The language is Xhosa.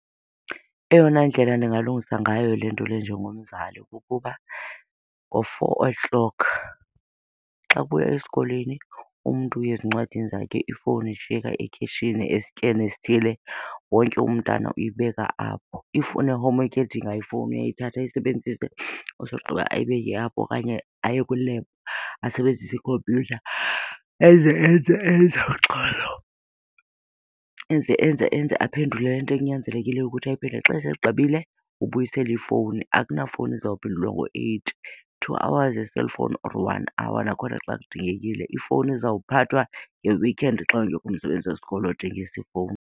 Eyona ndlela ndingalungisa ngayo le nto le njengomzali kukuba ngo-four o' clock xa kubuywa esikolweni umntu uya ezincwadini zakhe ifowuni ishiyeka ekhitshini esityeni esithile, wonke umntana uyibeka apho. If une-homework edinga ifowuni uyayithatha ayisebenzise asogqiba ayibeke apho okanye aye kwi-lab asebenzise ikhompyutha enze, enze, enze. Uxolo, enze, enze, enze, aphendule le nto ekunyanzelekile ukuthi ayiphendule. Xa segqibile ubuyiselea ifowuni. Akunafowuni izawuphendulwa ngo-eight. Two hours ye-cellphone or one hour nakhona xa kudingekile. Ifowuni izawuphathwa nge-weekend xa ungekho umsebenzi wesikolo odingisa ifowuni.